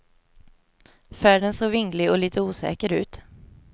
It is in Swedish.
Färden såg vinglig och lite osäker ut.